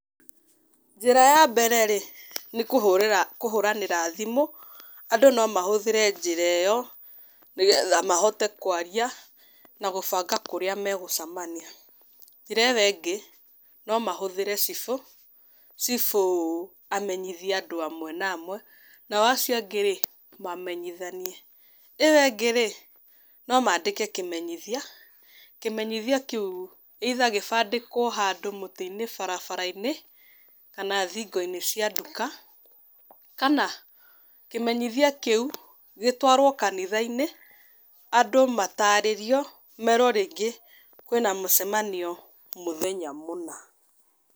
Njĩra ya mbere rĩ, nĩ kũhũrĩra, kũhũranĩra thimũ, andũ no mahũthĩre njĩra ĩyo, nĩ getha mahote kwaria na gũbanga kũrĩa megũcamania. Njĩra ĩyo ĩngĩ, no mahũthĩre cibũ, cibũ amenyithie andũ amwe na amwe nao acio angĩ rĩ mamemnyithanie. ĩyo ĩngĩ rĩ no maandĩke kĩmethia, kũmeyithia kĩu, either gĩbandĩkwo handũ mũtĩ-inĩ barabara-inĩ, kana thingo-inĩ cia nduka kana kĩmenyithia kĩu gĩtwarwo kanitha-inĩ andũ matarĩrio merwo rĩngĩ kwĩna mũcemanio mũthenya mũna.